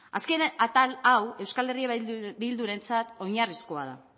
azken atal hau eh bildurentzat oinarrizkoa da